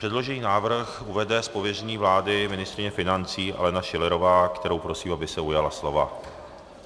Předložený návrh uvede z pověření vlády ministryně financí Alena Schillerová, kterou prosím, aby se ujala slova.